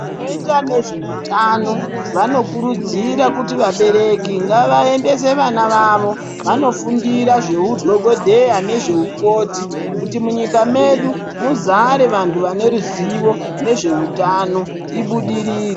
Vanoita nezveutano vanokurudzira kuti vabereki ngavaendese vana vavo vanofundira zveudhogodheya nezveukoti kuti munyika medu muzare vantu vane ruzivo nezveutano, ibudirire.